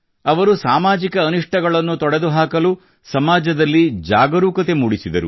ಅವರು ಸಾಮಾಜಿಕ ಅನಿಷ್ಠಗಳನ್ನು ತೊಡೆದು ಹಾಕಲು ಸಮಾಜದಲ್ಲಿ ಜಾಗರೂಕತೆ ಮೂಡಿಸಿದರು